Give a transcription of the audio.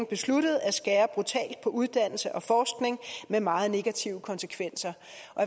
besluttet at skære brutalt på uddannelse og forskning med meget negative konsekvenser